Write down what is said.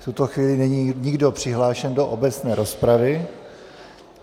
V tuto chvíli není nikdo přihlášen do obecné rozpravy.